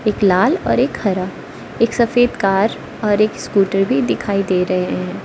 एक लाल और एक हरा एक सफेद कार और एक स्कूटर भी दिखाई दे रहे हैं।